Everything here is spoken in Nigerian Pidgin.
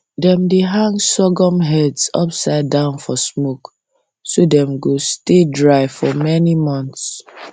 dem dey hang sorghum heads upside down for smoke so dem go stay dry for many months